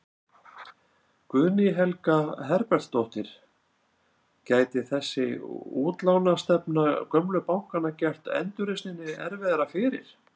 Guðný Helga Herbertsdóttir: Gæti þessi útlánastefna gömlu bankanna gert endurreisninni erfiðara fyrir?